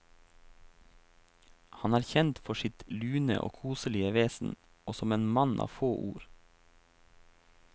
Han er kjent for sitt lune og koselige vesen, og som en mann av få ord.